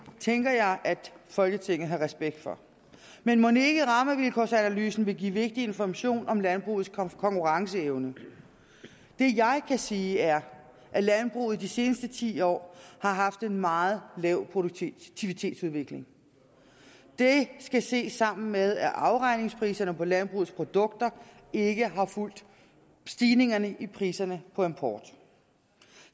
tænker jeg at folketinget har respekt for men mon ikke rammevilkårsanalysen vil give vigtig information om landbrugets konkurrenceevne det jeg kan sige er at landbruget i de seneste ti år har haft en meget lav produktivitetsudvikling det skal ses sammen med at afregningspriserne på landbrugets produkter ikke har fulgt stigningen i priserne på import